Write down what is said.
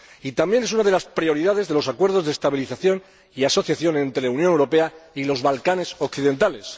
Y también es una de las prioridades de los Acuerdos de Estabilización y Asociación entre la Unión Europea y los Balcanes Occidentales.